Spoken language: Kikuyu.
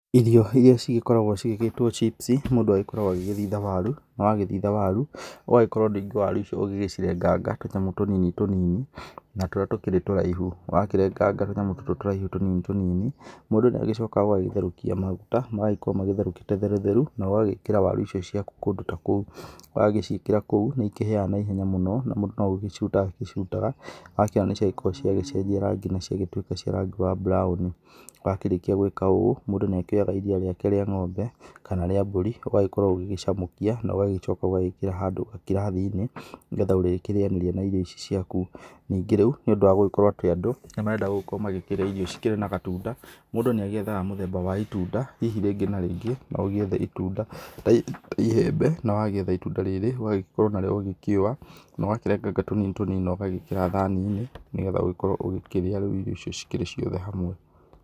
Ĩrio iria ci gĩkoragwo ciĩtĩtwo chips mũndũ agĩkoragwo athitha waru. Wagĩthitha waru ũgakorwo ningĩ waru icio ũgĩcirenganga tũnyamũ tũnini tũnini, na tũrĩa tũkĩrĩ tũraihu, wakĩrenganga tũnyamũ tũtũ ũraihu tũnini tũnini, mũndũ nĩagĩcokaga agagĩtherũkia maguta, magagĩkorwo magĩtherũkĩte therũ therũ, na ũgagĩkĩra waru icio ciaku kũndũ ta kũu, wagĩciĩkĩra kũu, nĩikĩhĩaga na ihenya mũno, na mũndũ no gũciruta acirutaga, akĩona nĩciagĩkorwo ciagĩcenjia rangi na ciagĩtuĩka cia rangi wa brown wakĩrĩkia gwĩka ũũ, mũndũ nĩakĩoyaga iria rĩake rĩa ng'ombe, kana rĩa mbũri, ũgakorwo ũgĩgĩcamũkia, na ũgacoka ũkarĩkĩra handũ gakirathi-inĩ, nĩgetha ũrĩkirĩyanĩria na irio icio ciaku. Ningĩ rĩu nĩ ũndũ wa gũgĩkorwo kũrĩ andũ, marenda gũkorwo makĩrĩa irio ci kĩrĩ na gatunda, mũndũ nĩagĩethaga mũthemba wa itunda, hihi rĩngĩ na rĩngĩ, no ũgiethe itunda hihi ta iembe, na wagĩetha ĩtunda rĩrĩ, ũgagĩkorwo narĩo ũgĩkĩua, na ũgakĩrenganga tũnini tũnini, na ũgagĩkĩra thani-inĩ, nĩgetha ũgĩgĩkorwo ũgĩkĩrĩa rĩu irio icio ciothe ikĩrĩ hamwe.